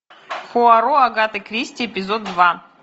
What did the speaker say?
пуаро агаты кристи эпизод два